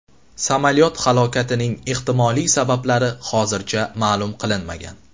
Samolyot halokatining ehtimoliy sabablari hozircha ma’lum qilinmagan.